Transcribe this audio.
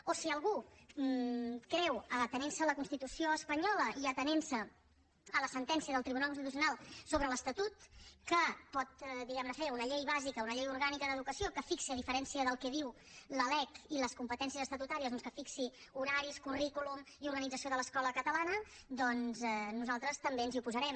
o si algú creu atenent se a la constitució espanyola i atenent se a la sentència del tribunal constitucional sobre l’estatut que pot diguem ne fer una llei bàsica una llei orgànica d’educació que fixi a diferència del que diu la lec i les competències estatutàries doncs horaris currículum i organització de l’escola catalana doncs nosaltres també ens hi oposarem